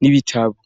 n'ibitabo.